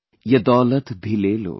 Ye daulat bhi le lo